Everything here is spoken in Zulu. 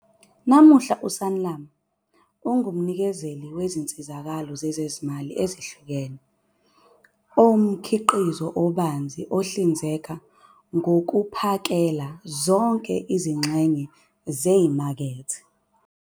Namuhla, iSanlam ingumnikezeli wezinsizakalo zezezimali ezihlukene onomkhiqizo obanzi ohlinzeka ngokuphakela zonke izingxenye zemakethe.